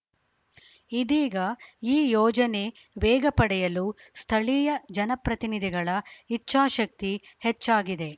ಇದೀಗ ಈ ಯೋಜನೆ ವೇಗ ಪಡೆಯಲು ಸ್ಥಳೀಯ ಜನಪ್ರತಿನಿಧಿಗಳ ಇಚ್ಚಾಶಕ್ತಿ ಹೆಚ್ಚಾಗಿದೆ